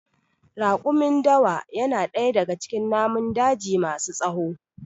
Raƙumin Dawa ya na ɗaya daga cikin namun daji ma su tsawo